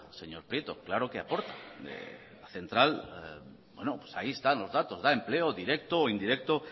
señor prieto claro que aporta la central bueno pues ahí están los datos da empleo directo o indirecto